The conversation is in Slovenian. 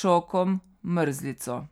šokom, mrzlico.